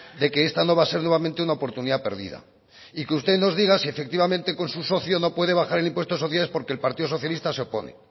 de que esta no va a ser nuevamente una oportunidad perdida y que usted nos diga que efectivamente con su socio no puede bajar el impuesto de sociedades porque el partido socialista se opone